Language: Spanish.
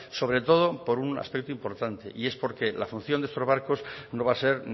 sobre todo por un aspecto importante y es porque la función de estos barcos no va a ser